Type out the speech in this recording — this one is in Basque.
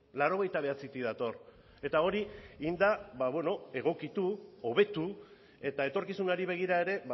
laurogeita bederatzitik dator eta hori egin da egokitu hobetu eta etorkizunari begira ere